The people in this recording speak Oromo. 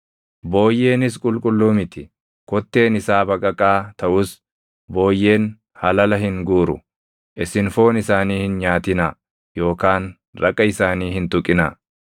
Booyyeenis qulqulluu miti; kotteen isaa baqaqaa taʼus booyyeen halala hin guuru. Isin foon isaanii hin nyaatinaa yookaan raqa isaanii hin tuqinaa.